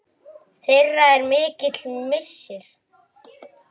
Þeirra er mikill missir.